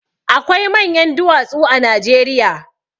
Akwai manyan duwatsu a Najeriya.